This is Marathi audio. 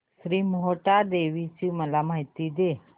श्री मोहटादेवी ची मला माहिती दे